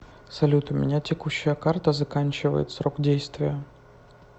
салют у меня текущая карта заканчивает срок действия